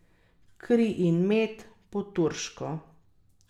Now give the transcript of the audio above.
Kri in med, po turško.